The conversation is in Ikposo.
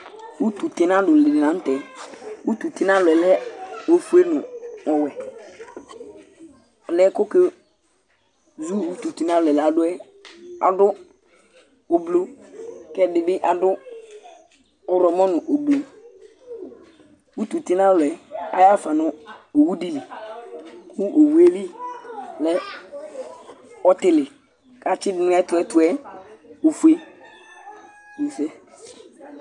Ʋtu tinalu di ni la ntɛ Ʋtu tinalu yɛ lɛ ɔfʋe nʋ ɔwɛ Ɔliyɛ kʋ ɔke zu ʋtu tinalu du yɛ adu ʋblu kʋ ɛdí bi adu ɔwlɔmɔ nʋ ʋblu Ʋtu tinalu yɛ ayaha fa nʋ owu di li kʋ owu ye li lɛ ɔtili kʋ atsi du nʋ ɛtʋ ɛtʋ yɛ ɔfʋe